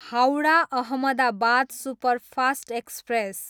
Howrah, Ahmedabad superfast express